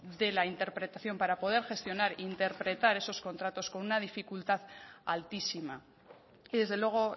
de la interpretación para poder gestionar interpretar esos contratos con una dificultad altísima y desde luego